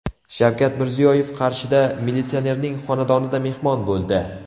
Shavkat Mirziyoyev Qarshida militsionerning xonadonida mehmon bo‘ldi.